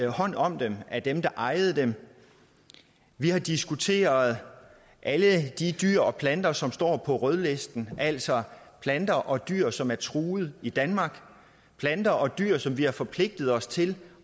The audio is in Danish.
hånd om dem af dem der ejede dem vi har diskuteret alle de dyr og planter som står på rødlisten altså planter og dyr som er truet i danmark planter og dyr som vi har forpligtet os til